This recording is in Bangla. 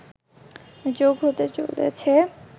যোগ হতে চলেছে